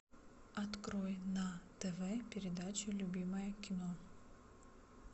открой на тв передачу любимое кино